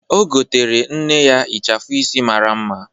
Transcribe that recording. O goteere nne ya ịchafụ isi mara mma.